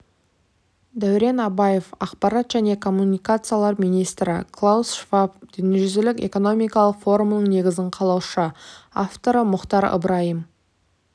дәурен абаев ақпарат және коммуникациялар министрі клаус шваб дүниежүзілік экономикалық форумның негізін қалаушы авторы мұхтар ыбырайым